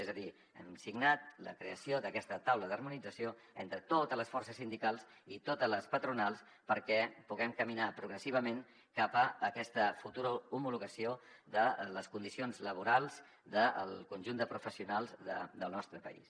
és a dir hem signat la creació d’aquesta taula d’harmonització entre totes les forces sindicals i totes les patronals perquè puguem caminar progressivament cap a aquesta futura homologació de les condicions laborals del conjunt de professionals del nostre país